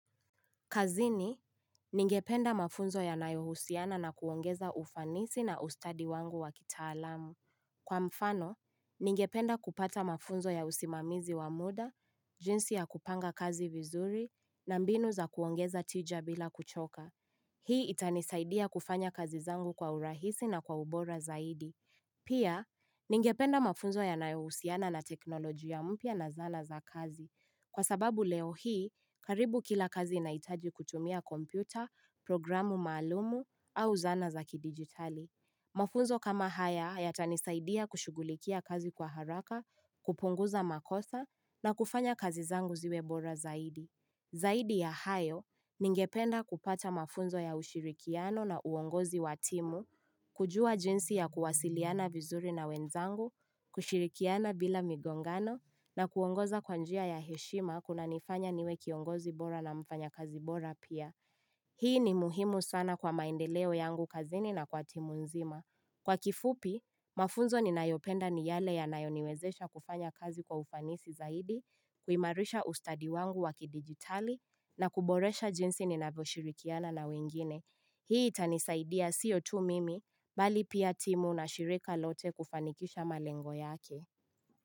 Kazini, ningependa mafunzo yanayohusiana na kuongeza ufanisi na ustadi wangu wa kitaalamu. Kwa mfano, ningependa kupata mafunzo ya usimamizi wa muda, jinsi ya kupanga kazi vizuri, na mbinu za kuongeza tija bila kuchoka. Hii itanisaidia kufanya kazi zangu kwa urahisi na kwa ubora zaidi. Pia, ningependa mafunzo ya nayohusiana na teknolojia mpya na zana za kazi. Kwa sababu leo hii, karibu kila kazi inahitaji kutumia kompyuta, programu maalumu au zana za kidigitali. Mafunzo kama haya yatanisaidia kushugulikia kazi kwa haraka, kupunguza makosa na kufanya kazi zangu ziwe bora zaidi. Zaidi ya hayo ningependa kupata mafunzo ya ushirikiano na uongozi wa timu, kujua jinsi ya kuwasiliana vizuri na wenzangu, kushirikiana bila migongano na kuongoza kwa njia ya heshima kunanifanya niwe kiongozi bora na mfanyakazi bora pia. Hii ni muhimu sana kwa maendeleo yangu kazini na kwa timu nzima. Kwa kifupi, mafunzo ninayopenda ni yale yanayoniwezesha kufanya kazi kwa ufanisi zaidi, kuimarisha ustadi wangu wa kidigitali, na kuboresha jinsi ninavyoshirikiana na wengine. Hii tanisaidia sio tu mimi, bali pia timu na shirika lote kufanikisha malengo yake.